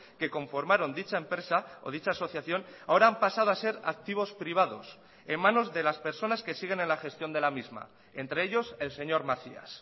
que conformaron dicha empresa o dicha asociación ahora han pasado a ser activos privados en manos de las personas que siguen en la gestión de la misma entre ellos el señor macías